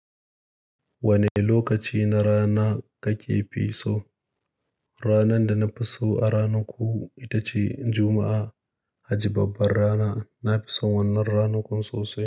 Wane lokaci na rana kakefi so? Ranar da nafi so a ranakun ita ce Juma'a, haji babbar rana. Nafi son wannan ranakun sosai.